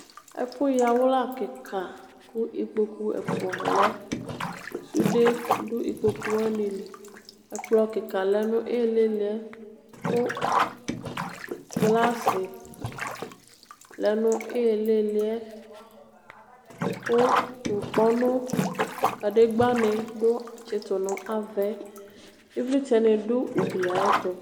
Ɛfʋ yawla kika kʋ ikpokʋ ɛfʋa lɛ sude du ikpokʋ wani li ɛkplɔ lika lɛnʋ ilili yɛ kʋ glasi lɛnʋ ilili yɛ kʋ ŋkpɔnʋ kadegba ni tsitu nʋ ava yɛ ivlitsɛni dʋ ugli yɛ ayʋ ɛtʋ